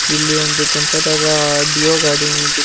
ಇಲ್ಲಿ ಒಂದು ಕೆಂಪದಾದ ಡಿಯೋ ಗಾಡಿ ನಿಂತಿತು ಮತ್--